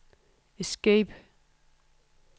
escape